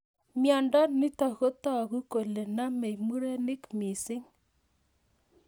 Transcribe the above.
Miondo nitok kotag'u kole namei murenik mising'